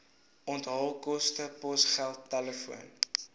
onthaalkoste posgeld telefoon